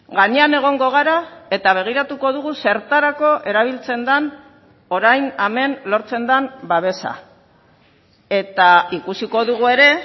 gainean egongo gara eta begiratuko dugu zertarako erabiltzen den orain hemen lortzen den babesa eta ikusiko dugu ere